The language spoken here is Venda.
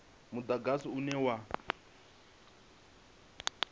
mudagasi une wa tou rengiwa